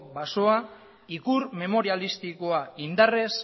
baso ikur momerialistikoa indarrez